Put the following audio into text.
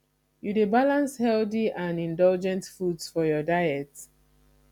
you dey balance healthy and indulgent foods for your diet